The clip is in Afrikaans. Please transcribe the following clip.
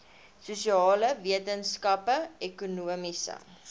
sosiale wetenskappe ekonomiese